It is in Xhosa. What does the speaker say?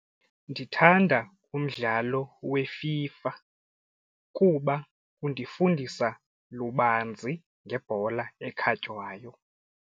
Ndithanda umdlalo weFIFA kuba undifundisa lubanzi ngebhola ekhatywayo.